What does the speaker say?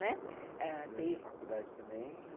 Né, durante a faculdade também?